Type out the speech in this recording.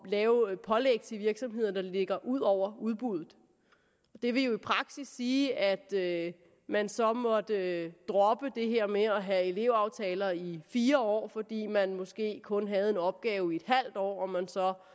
lave pålæg til virksomheder der ligger ud over udbuddet det ville jo i praksis sige at man så måtte droppe det her med at have elevaftaler i fire år fordi man måske kun havde en opgave i et halvt år og man så